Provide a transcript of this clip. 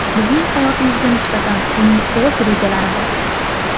Bizning hayotimizga nisbatan uning o‘z rejalari bor.